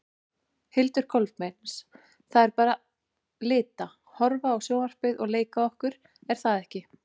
Hildur Kolbeins: Það er bara lita, horfa á sjónvarpið og leika okkur er það ekki?